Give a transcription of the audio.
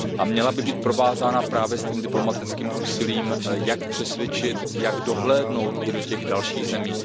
Měla by být provázána právě s diplomatickým úsilím jak přesvědčit, jak dohlédnout i do těch dalších zemí.